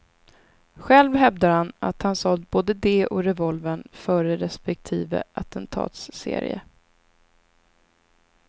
Själv hävdar han att han sålt både det och revolvern före respektive attentatsserie.